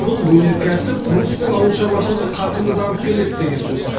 бұл өнеркәсіп құрылыс пен ауыл шаруашылығы қарқынды дамып келеді деген сөз